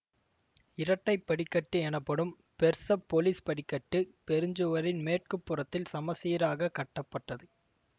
இரட்டை படிக்கட்டு எனப்படும் பெர்சப்பொலிஸ் படிக்கட்டு பெருஞ்சுவரின் மேற்கு புறத்தில் சமச்சீராகக் கட்டப்பட்டது